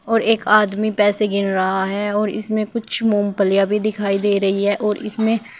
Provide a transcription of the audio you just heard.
और एक आदमी पैसे गिन रहा है और इसमें कुछ मूंगफलीयां भी दिखाई दे रही हैं और इसमें--